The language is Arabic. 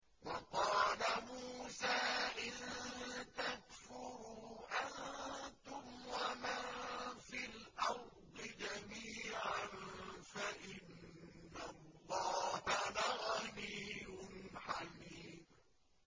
وَقَالَ مُوسَىٰ إِن تَكْفُرُوا أَنتُمْ وَمَن فِي الْأَرْضِ جَمِيعًا فَإِنَّ اللَّهَ لَغَنِيٌّ حَمِيدٌ